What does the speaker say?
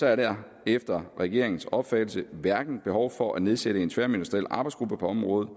er der efter regeringens opfattelse hverken behov for at nedsætte en tværministeriel arbejdsgruppe på området